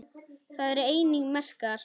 Þar eru einnig merkar